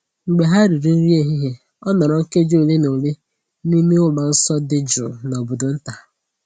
Mgbe ha riri nri ehihie, o nọrọ nkeji ole na ole n’ime ụlọ nsọ dị jụụ n’obodo nta.